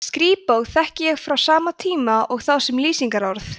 skrípó þekki ég frá sama tíma og þá sem lýsingarorð